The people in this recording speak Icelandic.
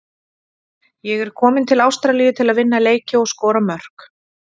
Ég er kominn til Ástralíu til að vinna leiki og skora mörk.